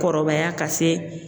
Kɔrɔbaya ka se.